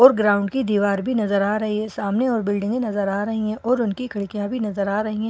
और ग्राउंड की दीवार भी नजर आ रही है सामने और बिल्डिंगे नजर आ रही हैं और उनकी खिड़कियां भी नजर आ रही हैं।